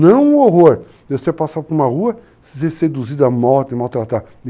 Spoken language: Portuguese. Não o horror de você passar por uma rua, ser seduzida, morta e maltratada.